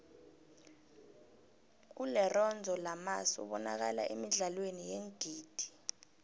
ulerenzo lamas ubanakala emidlalweni yeengidi